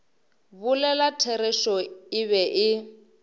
bolela therešo e be e